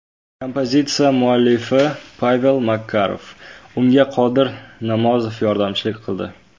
Kompozitsiya muallifi Pavel Makarov, unga Qodir Namozov yordamchilik qildi.